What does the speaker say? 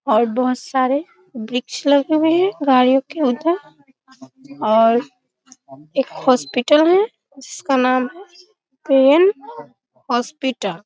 और बहुत सारे वृक्ष लगे हुए हैं गाडियों के उधर और एक हॉस्पिटल है जिसका का नाम है प्रेम हॉस्पीटल ।